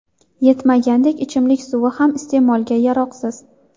Yetmagandek, ichimlik suvi ham iste’molga yaroqsiz.